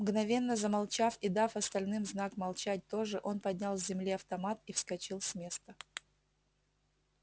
мгновенно замолчав и дав остальным знак молчать тоже он поднял с земли автомат и вскочил с места